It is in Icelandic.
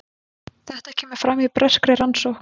Þetta kemur fram í breskri rannsókn